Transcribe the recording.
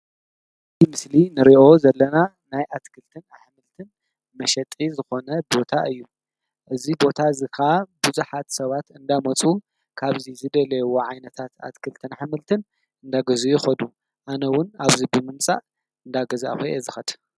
እዚ ምስሊ ንሪኦ ዘለና ናይ አትክልትን አሕምልትን መሸጢ ዝኾነ ቦታ እዪ። እዚ ቦታ እዚ ከዓ ብዙሓት ሰባት እንዳመፁ ካብዚ ዝደለይዎ ዓይነታት አትክልትን አሕምልትን እናገዝኡ ይኸዱ። ኣነ ዉን ኣብዚ ብምምፃእ እናገዛእኹ እየ ዝኸድ ።